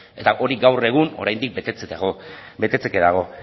eta hori gaur egun oraindik betetzeke dago